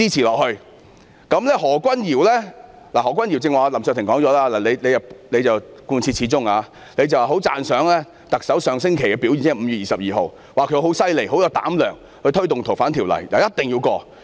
至於何君堯議員——林卓廷議員剛才已提及何君堯議員——他貫徹始終，十分讚賞特首上星期的表現，指她很厲害、有膽量推動《逃犯條例》，一定要通過。